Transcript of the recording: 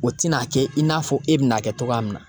O tin'a kɛ in n'a fɔ e bina kɛ togoya min na